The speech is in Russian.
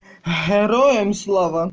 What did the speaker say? героям слава